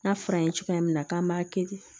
N'a fɔra an ye cogoya min na k'an b'a kɛ ten